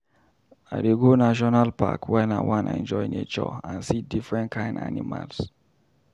I dey go National park wen I wan enjoy nature and see different kain animals.